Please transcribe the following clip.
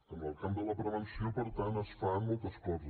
en el camp de la prevenció per tant es fan moltes coses